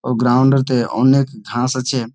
ও ground ও তে অনেক ঘাস আছে।